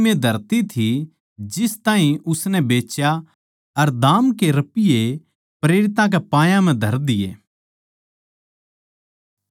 उसकी कीमे धरती थी जिस ताहीं उसनै बेच्या अर दाम के रपिये प्रेरितां के पायां म्ह धर दिए